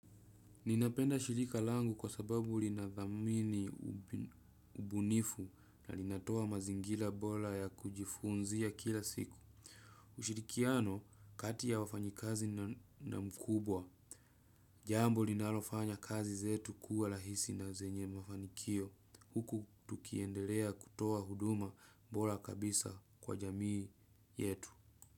Ninapenda shirika langu kwa sababu linadhamini ubunifu na linatoa mazingila bola ya kujifunzia kila siku. Ushirikiano kati ya wafanyikazi na mkubwa. Jambo linalofanya kazi zetu kuwa lahisi na zenye mafanikio. Huku tukiendelea kutoa huduma bola kabisa kwa jamii yetu.